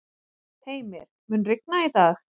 Heimir, mun rigna í dag?